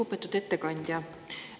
Lugupeetud ettekandja!